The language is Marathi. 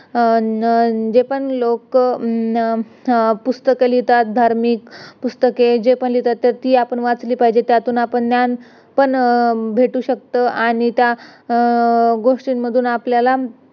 अं न जे पण लोक पुस्तक लिहितात धार्मिक पुस्तक जे पण लिहितात तर ती आपण वाचली पाहिजेत त्यातून आपण ज्ञान पण भेटू शकत आणि त्या गोष्टीमधून आपल्याला